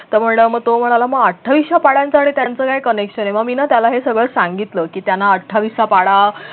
तर मग तो म्हणाला मग अठ्ठावीसच्या पाढ्यांचं आणि त्यांचं काय connection आहे मग मी ना त्याला हे सगळं सांगितलं की त्यांना अठ्ठावीसचा पाढा